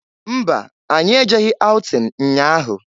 Mba! Anyị ejeghi aụtin nnya ahụ.